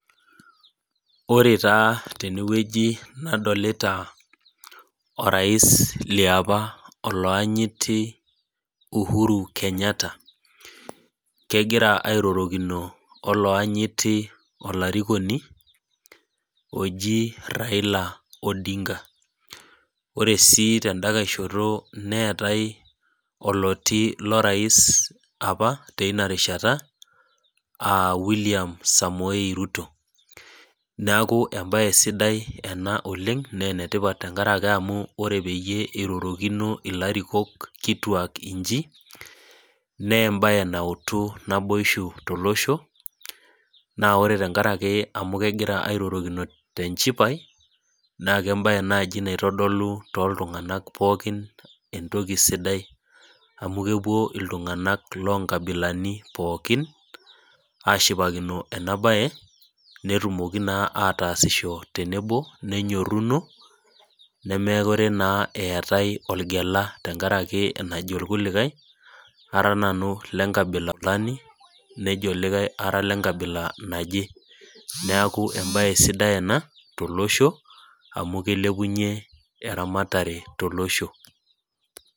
Ore taa tenewueji nadolita orais liapa olaanyiti Uhuru Kenyatta, kegira airorokino olaanyiti olarikoni oji Raila Odinga. Ore si teda nkae shoto neetae oloti lorais apa teinarishata, ah William Samoei Ruto. Neeku ebae sidai ena oleng, nenetipat tenkaraki amu ore peyie irorokino ilarikok kituak iji, nebae nautu naboisho tolosho, naa tenkaraki amu kegira airorokino tenchipai, na kebae nai naitodolu toltung'anak pookin entoki sidai amu kepuo iltung'anak lonkabilani pookin, ashipakino enabae, netumoki naa ataasisho tenebo, nenyorruno, nemekure naa eetae olgela tenkaraki enajo irkulikae, ara nanu ile nkabila fulani, nejo likae ara lenkabila naje. Neeku ebae sidai ena tolosho, amu kilepunye eramatare tolosho.